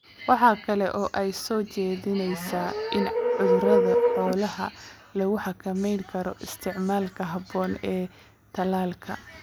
Waxa kale oo ay soo jeedinaysaa in cudurrada xoolaha lagu xakameyn karo isticmaalka habboon ee tallaalka.